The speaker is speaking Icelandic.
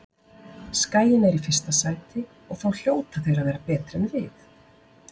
Skaginn er í fyrsta sæti og þá hljóta þeir að vera betri en við.